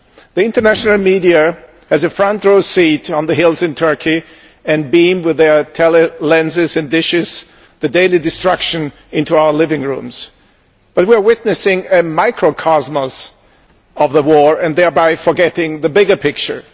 The international media has a front row seat on the hills in Turkey and beam with their tele lenses and dishes the daily destruction into our living rooms. But we are witnessing a microcosmos of the war and thereby forgetting the bigger picture.